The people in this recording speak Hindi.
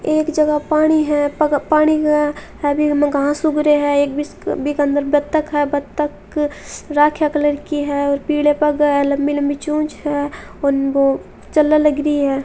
एक जगह पानी है पग पानी मैं हरी हरी घास उग रही है एक बी के अंदर बतख है बतख राखिया कलर की है और पीले पग है लंबी लंबी चोंच है उनको चलने लग री है।